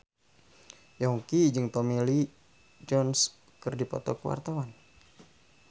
Yongki jeung Tommy Lee Jones keur dipoto ku wartawan